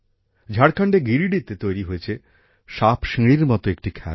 ঝাড়খণ্ডের গিরিডিতে তৈরি হয়েছে সাপসিঁড়ির মতো একটি খেলা